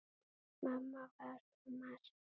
Mamma var svo margt.